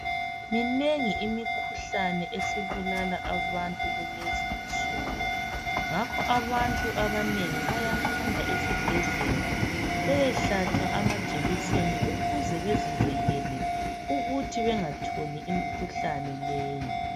Minengi imikhuhlane esibulala abantu kulezi insunku, ngakho abantu abanengi bayahamba esibhedlela beyehlatshwa amajekiseni ukuze bezivikele ukuthi bengatholi imikhuhlane leyi.